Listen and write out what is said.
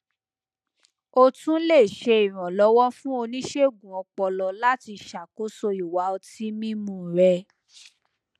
o tún lè ṣe ìrànlọwọ fún oníṣègùn ọpọlọ láti ṣàkóso ìwà ọtí mímu rẹ